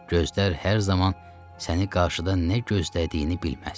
Gözlər hər zaman səni qarşıda nə gözlədiyini bilməz.